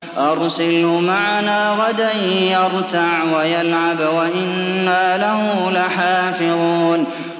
أَرْسِلْهُ مَعَنَا غَدًا يَرْتَعْ وَيَلْعَبْ وَإِنَّا لَهُ لَحَافِظُونَ